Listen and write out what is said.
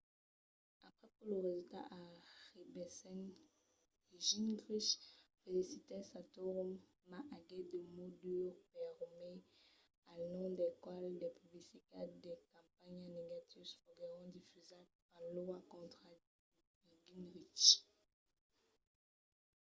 aprèp que los resultats arribèssen gingrich felicitèt santorum mas aguèt de mots durs per romney al nom del qual de publicitats de campanha negatius foguèron difusats en iowa contra gingrich